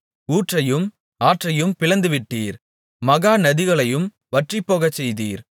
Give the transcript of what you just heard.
ஊற்றையும் ஆற்றையும் பிளந்துவிட்டீர் மகா நதிகளையும் வற்றிப்போகச்செய்தீர்